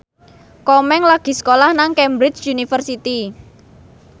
Komeng lagi sekolah nang Cambridge University